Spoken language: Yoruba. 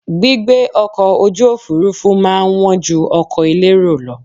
Gbígbé ọkọ̀ ojú òfurufú má a ń wọ́n ju ọkọ̀ elérò lọ